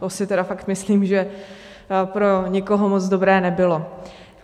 To si tedy fakt myslím, že pro nikoho moc dobré nebylo.